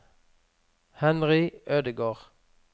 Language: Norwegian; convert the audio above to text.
Henry Ødegård